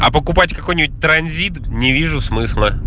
а покупать какой-нибудь транзит не вижу смысла